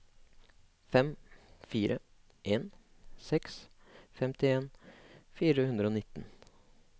fem fire en seks femtien fire hundre og nitten